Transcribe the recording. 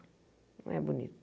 Não é bonito.